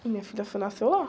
Minha filha foi, nasceu lá.